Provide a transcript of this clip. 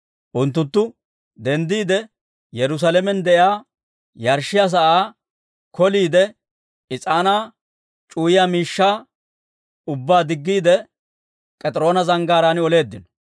Unttunttu denddiide, Yerusaalamen de'iyaa yarshshiyaa sa'aa k'oliide, is'aanaa c'uwayiyaa miishshaa ubbaa diggiide, K'ediroona Zanggaaraan oleeddino.